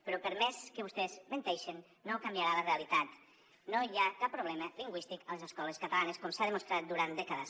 però per més que vostès menteixin no canviarà la realitat no hi ha cap problema lingüístic a les escoles catalanes com s’ha demostrat durant dècades